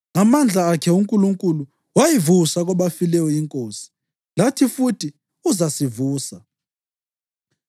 Ngamandla akhe uNkulunkulu wayivusa kwabafileyo iNkosi, lathi futhi uzasivusa.